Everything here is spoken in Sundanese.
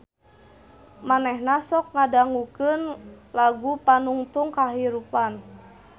Manehna sok ngadangukeun lagu Panungtung Kahirupan